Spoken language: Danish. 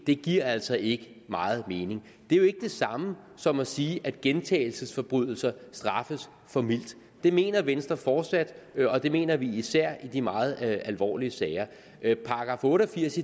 giver altså ikke meget mening det er jo ikke det samme som at sige at gentagelsesforbrydelser straffes for mildt det mener venstre fortsat og det mener vi især i de meget alvorlige sager § otte og firs